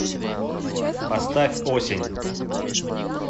поставь осень